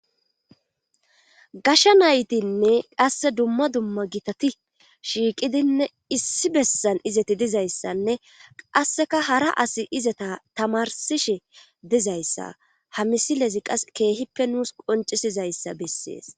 gasha naytinne qasse dumma dumma gitati shiiqidinne issi bessan izati dizayssanne qasseka hara asi izata tamarsishe dizayssa ha misilezi qas keehippe nuus qoncisizayssa bessees